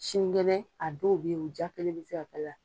Sinikɛnɛ a dɔw bɛ yen u diya kelen bɛ se k'a la.